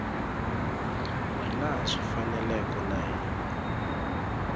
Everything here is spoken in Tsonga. hilaha swi faneleke na hi